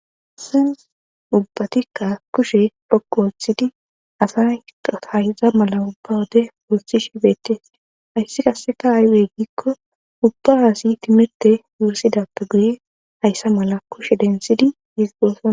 ubbatikka kushe poqu wolthidi asa hayza mala ubba wode wolthi shibeettees hayssi kasseka aywey giikko ubba aasi timete wuusidappe guye hayssa mala kushe densidi yiizigosoa